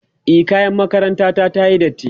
e kayan makaranta ta tayi datti